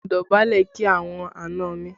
Mo dọ̀bálẹ̀ kí àwọn àna mi